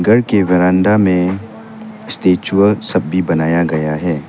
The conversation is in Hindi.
घर के बरामदा में स्टैचूआ सब भी बनाया गया है।